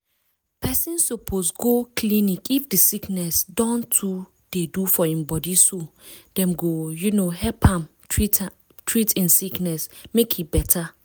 person suppose go clinic if the sickness don too they for im bodyso dem go um help am treat i'm sickness make e better